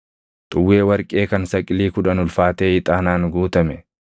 xuwwee warqee kan saqilii kudhan ulfaatee ixaanaan guutame,